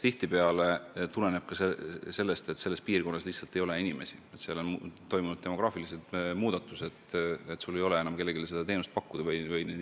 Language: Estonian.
Tihtipeale tuleneb see sellest, et piirkonnas lihtsalt ei ole inimesi, on toimunud demograafilised muudatused, nii et ei ole enam kellelegi teenust pakkuda.